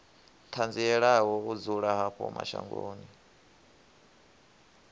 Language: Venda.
ṱanzielaho u dzula havho mashangoni